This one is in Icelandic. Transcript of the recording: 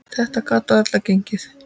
Þetta gat varla gengið.